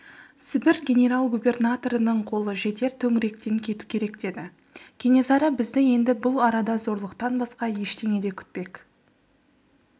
сібір генерал-губернаторының қолы жетер төңіректен кету керек деді кенесары бізді енді бұл арада зорлықтан басқа ештеңе де күтпек